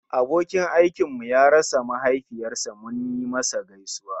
Abokin aikinmu ya rasa mahaifiyar sa munyi masa gaisuwa